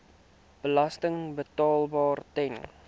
belasting betaalbaar ten